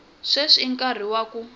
sweswi i nkarhi wa ku